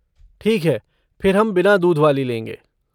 ठीक है फिर हम बिना दूध वाली लेंगे।